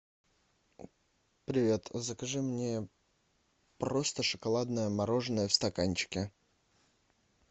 привет закажи мне просто шоколадное мороженое в стаканчике